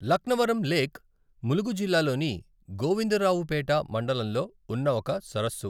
Laknavaram lake Mulugu జిల్లాలోని గోవిందరావుపేట మండలంలో ఉన్న ఒక సరస్సు.